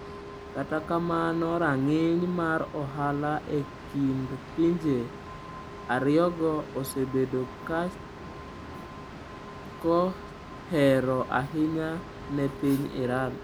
Kata kamano, rang’iny mar ohala e kind pinje ariyogo osebedo kohero ahinya ne piny Iran.